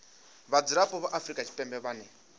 vhadzulapo vha afrika tshipembe vhane